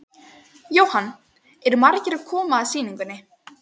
Jóhann: Eru margir sem koma að sýningunni?